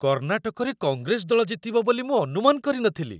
କର୍ଣ୍ଣାଟକରେ କଂଗ୍ରେସ ଦଳ ଜିତିବ ବୋଲି ମୁଁ ଅନୁମାନ କରି ନ ଥିଲି।